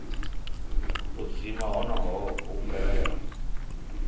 u dzima honoho hu bvelela